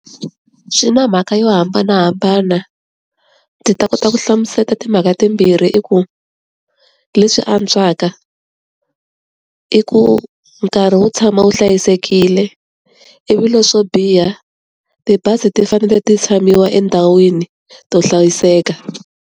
Swi na mhaka yo hambanahambana, ndzi ta kota ku hlamusela timhaka timbirhi i ku. Leswi antswaka i ku nkarhi wo tshama wu hlayisekile, ivi leswi swo biha tibazi ti fanele ti tshamiwa endhawini to hlayiseka.